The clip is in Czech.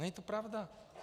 Není to pravda.